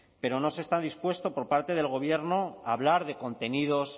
pero no se está dispuestos por parte del gobierno a hablar de contenidos